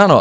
Ano.